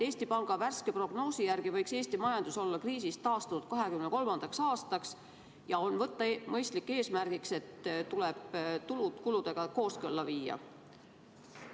Eesti Panga värske prognoosi järgi võiks Eesti majandus olla kriisist taastunud 2023. aastaks ja on mõistlik võtta eesmärgiks, et tulud tuleb kuludega kooskõlla viia.